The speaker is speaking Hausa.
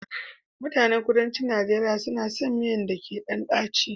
Mutanen kuduncin Nigeria suna son miyan da ke ɗan daci